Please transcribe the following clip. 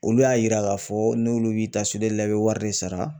Olu y'a yira k'a fɔ ne n'olu b'i ta li la i bɛ wari de sara